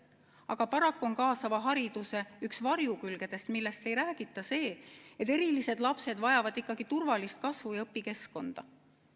Aga paraku on kaasava hariduse üks varjukülgedest, millest ei räägita, see, et erilised lapsed vajavad turvalist kasvu- ja õpikeskkonda.